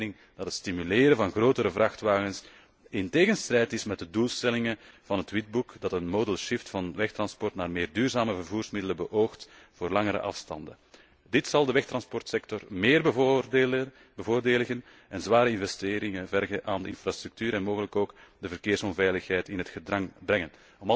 Wij zijn van mening dat het stimuleren van grotere vrachtwagens in strijd is met de doelstellingen van het witboek dat een modal shift van wegtransport naar meer duurzame vervoersmiddelen voor langere afstanden beoogt. Dit zal de wegtransportsector meer bevoordelen en zware investeringen vergen van de infrastructuur en mogelijk ook de verkeersveiligheid in het gedrang brengen.